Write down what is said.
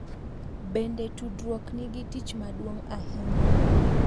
Bende, tudruok nigi tich maduong’ ahinya .